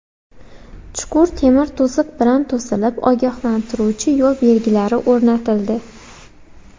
Chuqur temir to‘siq bilan to‘silib, ogohlantiruvchi yo‘l belgilari o‘rnatildi.